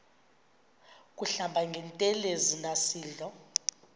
kuhlamba ngantelezi nasidlo